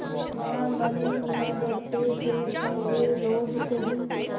वह मन में डरते थे कि वे लोग कहीं